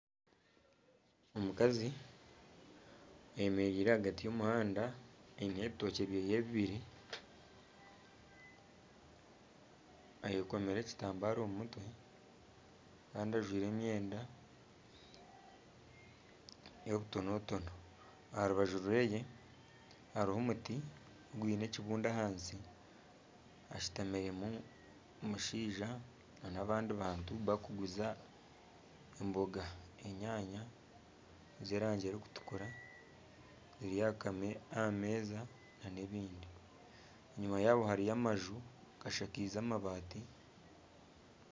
Omukazi ayemereire ahagati y'omuhanda aine ebitookye byehe bibiri ayekomire ekitambara omu mutwe kandi ajwaire emyenda y'obutonotono , aha rubaju rweye hariho omuti gwiine ekibunda ahansi hashutamiremu omushaija nana abandi bantu barikuguza emboga enyanya z'erangi erikutukura ziri aha meeza nana ebindi, enyuma yaabo hariyo amaju gashakaize amabaati